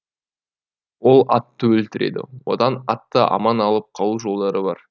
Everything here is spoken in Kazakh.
ол атты өлтіреді одан атты аман алып қалу жолдары бар